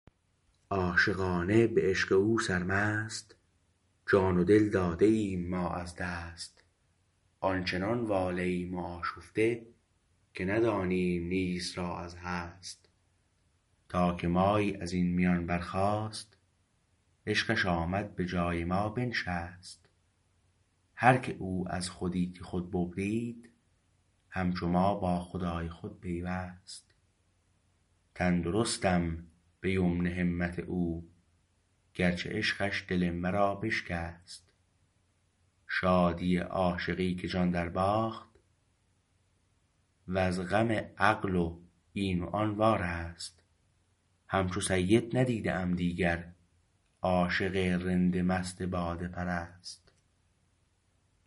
عاشقانه به عشق او سرمست جان و دل داده ایم ما از دست آنچنان واله ایم و آشفته که ندانیم نیست را از هست تا که مایی ازین میان برخاست عشقش آمد به جای ما بنشست هرکه او از خودی خود ببرید همچو ما با خدای خود پیوست تندرستم به یمن همت او گرچه عشقش دل مرا بشکست شادی عاشقی که جان درباخت وز غم عقل و این و آن وارست همچو سید ندیده ام دیگر عاشق رند مست باده پرست